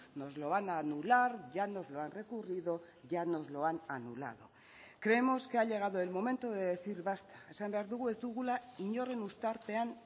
nos lo van a anular ya nos lo han recurrido ya nos lo han anulado creemos que ha llegado el momento de decir basta esan behar dugu ez dugula inoren uztarpean